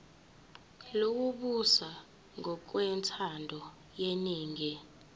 lokubusa ngokwentando yeningi